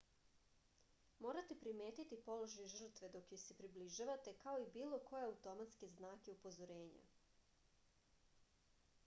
morate primetiti položaj žrtve dok joj se približavate kao i bilo koje automatske znake upozorenja